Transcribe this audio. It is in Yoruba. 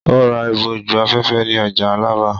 Ó ra ìbòjú-afẹ́fẹ́ ní ọjà Alábà.